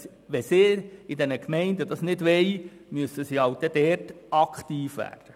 Wenn sie das in den Gemeinden nicht wollen, müssen sie dort aktiv werden.